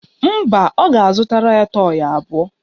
Mba, ọ ga-azụtara ya tọyị abụọ